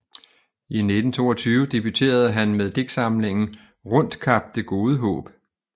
I 1922 debuterede han med digtsamlingen Rundt Kap det gode Haab